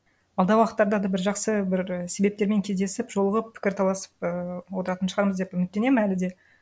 алдағы уақыттарда да бір жақсы бір себептермен кездесіп жолығып пікір таласып ыыы отыратын шығармыз деп үміттенемін әлі де